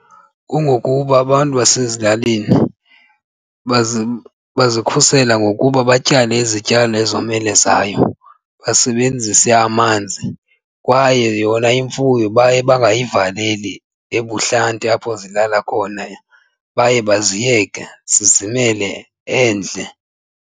Kungokuba abantu basezilalini bazikhusele ngokuba batyale izityalo ezomelezayo basebenzise amanzi kwaye yona imfuyo baye bangayivaleli ebuhlanti apho zilala khona baye baziyeke zizimele endle.